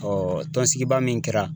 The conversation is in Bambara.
tɔn sigi ba min kɛra